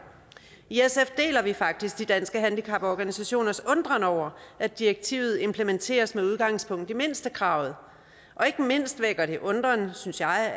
i sf deler vi faktisk danske handicaporganisationers undren over at direktivet implementeres med udgangspunkt i mindstekravet og ikke mindst vækker det undren synes jeg